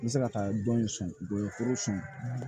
N bɛ se ka taa dɔn in sɔn foro la